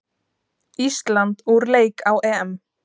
Ísland úr leik á EM